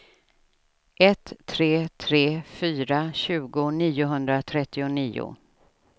ett tre tre fyra tjugo niohundratrettionio